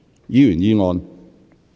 議員議案。